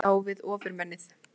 Tekst á við Ofurmennið